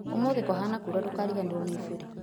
Ũmũthĩ kũhana kura ndũkariganĩrwo nĩ iburi